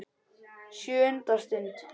SJÖUNDA STUND